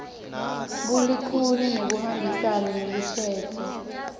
bulikhuni nekuhambisana nelushintso